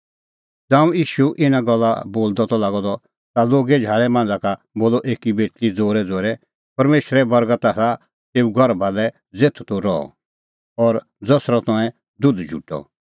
ज़ांऊं ईशू इना गल्ला बोलदअ त लागअ द ता लोगे झाल़ै मांझ़ा का बोलअ एकी बेटल़ी ज़ोरैज़ोरै परमेशरे बर्गत आसा तेऊ गर्भा लै ज़ेथ तूह रहअ और ज़सरअ तंऐं दुध झुटअ